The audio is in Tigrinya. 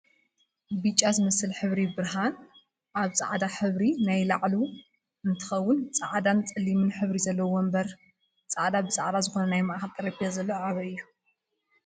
ብጫ ዝመስል ሕብሪ ብርሃን ኣብ ፃዕዳ ሕብሪ ናይ ላዕሉ እንትከውን ፃዕዳን ፀሊም ሕብሪ ዘለዎ ወንበርን ፃዕዳ ብፃዕዳ ዝኮነ ናይ ማእከል ጠረጴዛ ዘሎ ኣበይ እዩ ?